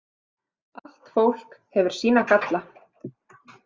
Allt fólk hefur sína galla.